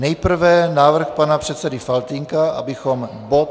Nejprve návrh pana předsedy Faltýnka, abychom bod...